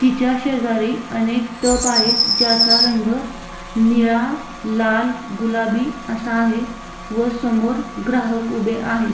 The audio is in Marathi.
त्याच्या शेजारी अनेक टप आहेत ज्याचा रंग निळा लाल गुलाबी असा आहे व समोर ग्राहक उभे आहेत.